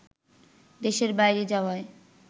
দেশের বাইরে যাওয়ায়